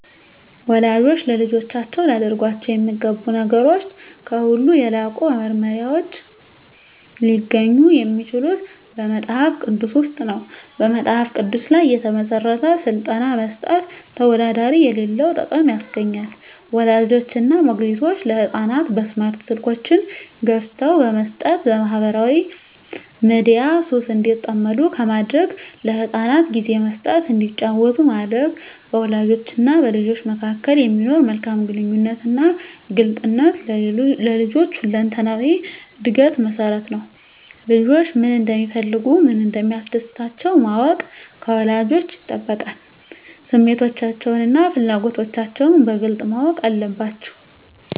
ወላጆች ለልጆቻቸው ሊያደርጓቸው የሚገቡ ነገሮች ከሁሉ የላቁ መመሪያዎች ሊገኙ የሚችሉት በመጽሐፍ ቅዱስ ውስጥ ነው። በመጽሐፍ ቅዱስ ላይ የተመሠረተ ሥልጠና መስጠት ተወዳዳሪ የሌለው ጥቅም ያስገኛል። ወላጆች እና ሞግዚቶች ለሕፃናት በስማርት ስልኮችን ገዝተው በመስጠት በማኅበራዊ ሚዲያ ሱስ እንዲጠመዱ ከማድረግ ለሕፃናት ጊዜ መስጠት እንዲጫወቱ ማድረግ፣ በወላጆችና በልጆች መካከል የሚኖር መልካም ግንኙነትና ግልጽነት ለልጆች ሁለንተናዊ ዕድገት መሠረት ነው። ልጆች ምን እንደሚፈልጉ፣ ምን እንደሚያስደስታቸው ማወቅ ከወላጆች ይጠበቃል። ስሜቶቻቸውንና ፍላጎቶቻቸውን በግልጽ ማወቅ አለባቸዉ።